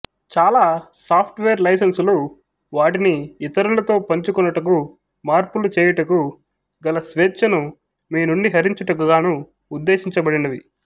చాలా software లైసెన్సులు వాటిని ఇతరులతో పంచుకొనుటకు మార్పులు చేయుటకు గల స్వేచ్ఛను మీ నుండి హరించుటకుగాను ఉద్దేశించబడినవి